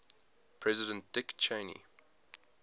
president dick cheney